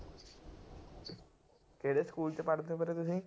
ਕਿਹੜੇ ਸਕੂਲ ਚ ਪੜ੍ਹਦੇ ਹੋ ਵੀਰੇ ਤੁਸੀਂ?